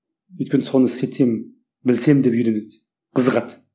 өйткені соны істетсем білсем деп үйренеді қызығады